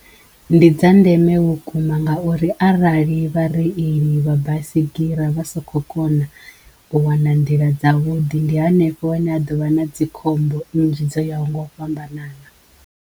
Ndi dza ndeme vhukuma ngauri arali vhareili vha baisigira vha sakho kona u wana nḓila dza vhuḓi ndi henefho hune ha ḓovha na dzikhombo nnzhi dzo yaho ngo u fhambanana.